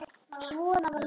Svona var Linda.